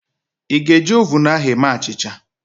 Ị ga-eji oven ahu eme achịcha?